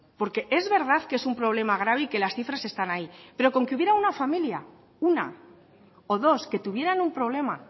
porque es verdad que es un problema grave y que las cifras están ahí pero con que hubiera una familia una o dos que tuvieran un problema